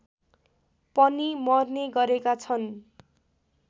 पनि मर्ने गरेका छन्